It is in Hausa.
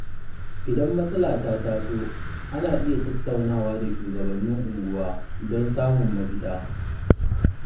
Idan matsala ta taso, ana iya tattaunawa da shugabannin unguwa don samun mafita.